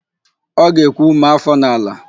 Ọ ga-ekwu, "maa áfọ̀ n'ala"!